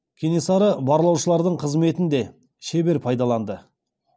кенесары барлаушылардың қызметін де шебер пайдаланды